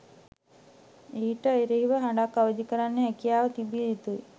ඊට එරෙහිව හඬක් අවදිකරන්න හැකියාව තිබිය යුතුයි